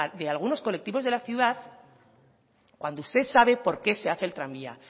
de algunos colectivos de la ciudad cuando usted sabe por qué se hace el tranvía